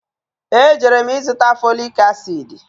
E jere m ịzụta foliki asịdị